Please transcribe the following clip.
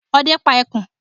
Ọdẹ pá ẹkùn.